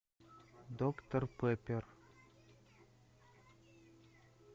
доктор пеппер